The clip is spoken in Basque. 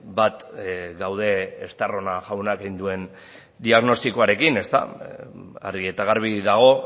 bat gaude estarrona jaunak egin duen diagnostikoarekin argi eta garbi dago